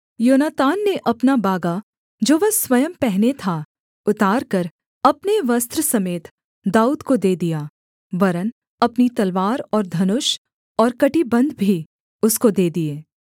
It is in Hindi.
योनातान ने अपना बागा जो वह स्वयं पहने था उतारकर अपने वस्त्र समेत दाऊद को दे दिया वरन् अपनी तलवार और धनुष और कमरबन्ध भी उसको दे दिए